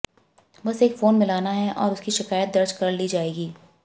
बस एक फोन मिलाना है और उसकी शिकायत दर्ज कर ली जाएगी